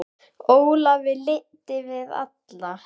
Ólafi lynti við alla